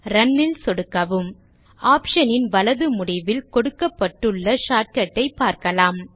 Run ல் சொடுக்கவும் option ன் வலது முடிவில் கொடுக்கப்பட்டுள்ள shortcut ஐ பார்க்கலாம்